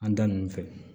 An da nunnu fɛ